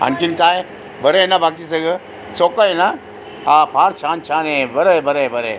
आणखीन काय बरयना बाकी सगळ सोपयन हा फार छान छान बरय बरय बरय --